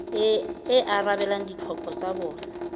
e arabelang ditlhoko tsa bona